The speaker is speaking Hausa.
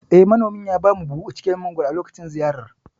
Eh, Manomin ya bamu buhu cike da mangoro a lokacin ziyarar.